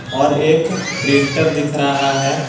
और एक प्रिंटर दिख रहा है।